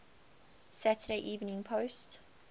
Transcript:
saturday evening post